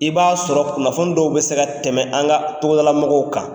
I b'a sɔrɔ kunnafoni dɔw bɛ se ka tɛmɛ an ka togoda la mɔgɔw kan.